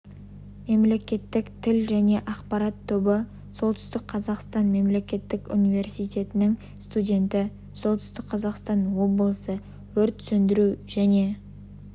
мемлекеттік тіл және ақпарат тобы солтүстік қазақстан мемлекеттік университетінің студенті солтүстік қазақстан облысы өрт сөндіру және